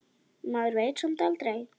Maður veit samt aldrei.